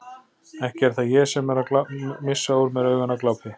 Ekki er það ég sem er að missa úr mér augun af glápi.